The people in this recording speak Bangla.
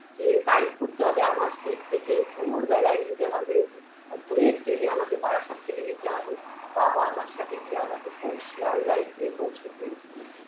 যে Type করতে হবে amac Street থেকে ভোর বেলায় যেতে হবে আর ভোরের train -এ আমাকে বারাসাত থেকে যেতে হবে বাবা আমার সাথে গিয়ে আমাকে পৌ শিয়ালদায় গিয়ে পৌঁছে দিয়ে এসছে